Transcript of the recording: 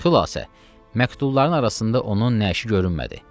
Xiləsə məktubların arasında onun nəşi görünmədi.